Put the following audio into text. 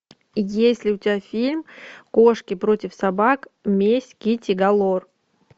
есть ли у тебя фильм кошки против собак месть китти галор